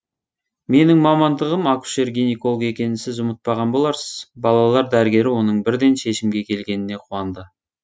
менің мамандығым акушер гинеколог екенін сіз ұмытпаған боларсыз балалар дәрігері оның бірден шешімге келгеніне қуанды